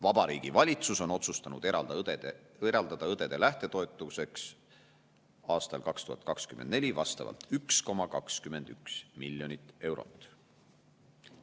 Vabariigi Valitsus on otsustanud eraldada õdede lähtetoetuseks 2024. aastal 1,21 miljonit eurot.